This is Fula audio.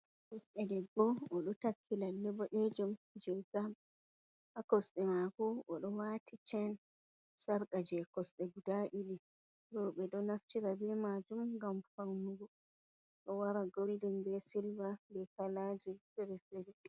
Debbo o ɗo takki lalle boɗe jum je gam ha kosɗe maako, o ɗo waati chen sarqa je kosɗe guda ɗiɗi rorɓe ɗo naftira be maajum gam fannugo, ɗo wara goldin be silva be kalaaji fere-fere.